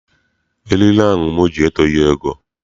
Eriri ahụ m ji etoghi ogo.